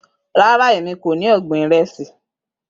Rara Emi ko ni ọgbin iresi.